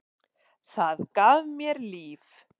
Það gaf mér líf.